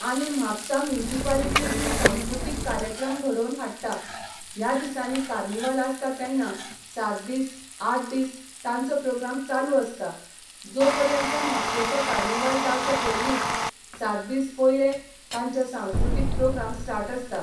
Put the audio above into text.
आनी म्हापसां मुन्सिपालिटी ही सांस्कृतिक कार्यक्रम घडोवन हाडटा ह्या दिसांनी कार्निवल आसतां तेन्ना सात दीस आठ दीस तांचो प्रोग्राम चालू आसता जो पर्यंत म्हापशेचो कार्निवल जावच्या पयलींच सात दीस पयलें तांचे सांकृतिक प्रोग्राम स्टार्ट आसता.